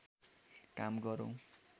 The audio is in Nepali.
काम गरौँ